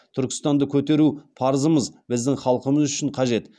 түркістанды көтеру парызымыз біздің халқымыз үшін қажет